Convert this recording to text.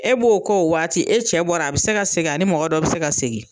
E b'o k'o waati, e cɛ bɔra a bi se ka segin, ani mɔgɔ dɔ bi se ka segin.